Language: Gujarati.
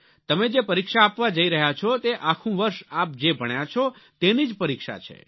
તમે જે પરીક્ષા આપવા જઈ રહ્યા છો તે આખું વર્ષ આપ જે ભણ્યા છો તેની જ પરીક્ષા છે